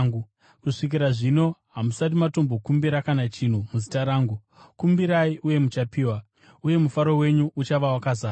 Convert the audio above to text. Kusvikira zvino hamusati matombokumbira kana chinhu muzita rangu. Kumbirai uye muchapiwa, uye mufaro wenyu uchava wakazara.